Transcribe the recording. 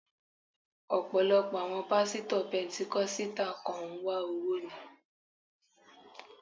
Ọ̀pọ̀lọpọ̀ àwọn Pásítọ̀ pẹntíkọ́sítà kàn ń wá owó ni.